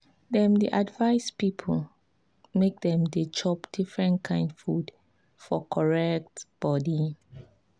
dem dey advice people make dem dey chop different kain food for correct body.